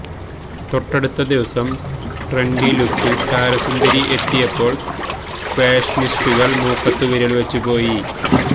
തൊട്ടടുത്ത ദിവസം ട്രെന്റി ലുക്കിൽ താരസുന്ദരി എത്തിയപ്പോൾ ഫാഷനിസ്റ്റുകള് മൂക്കത്തു വിരൽവച്ചു പോയി